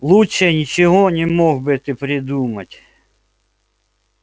лучше ничего не мог бы ты придумать